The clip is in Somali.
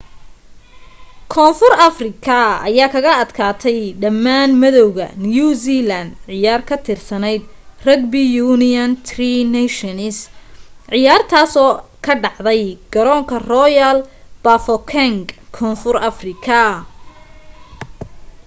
koonfur afrika aya kaga adkaatay dhamaan madowganew zealand ciyaar ka tirsaneyd rugby union tri nations ciyaartaasoo ka dhacday garoonka royal bafokeng koonfur afrika